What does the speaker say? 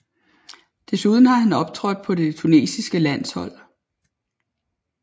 Desuden har han optrådt på det tunesiske landshold